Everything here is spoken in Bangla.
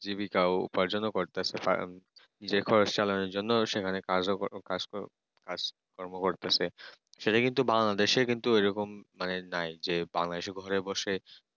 জীবিকা অপার জন্য করতেছে নিজের ঘরে চলার জন্য সেখানে কাজও করে কাজ কাজকর্ম করতেছে সেটা কিন্তু Bangladesh কিন্তু এরকম মানে নাই যে বাংলাদেশে ঘরে বসে